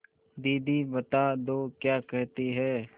दीदी बता दो क्या कहती हैं